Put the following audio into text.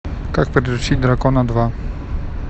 как приручить дракона два